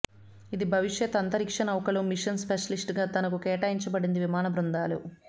ఇది భవిష్యత్ అంతరిక్ష నౌకలో మిషన్ స్పెషలిస్ట్ గా తనకు కేటాయించబడింది విమాన బృందాలు